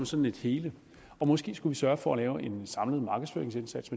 som et hele og måske skulle vi sørge for at lave en samlet markedsføringsindsats